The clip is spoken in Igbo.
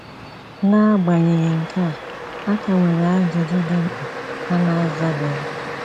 N’agbanyeghị nke a, a ka nwere ajụjụ dị mkpa a na-azabeghị.